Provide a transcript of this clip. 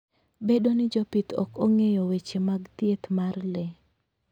Bedo ni jopith ok ong'eyo weche mag thieth mar le.